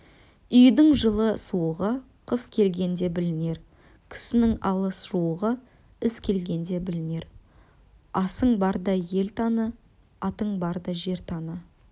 үйдің жылы-суығы қыс келгенде білінер кімнің алыс-жуығы іс келгенде білінер асың барда ел таны атың барда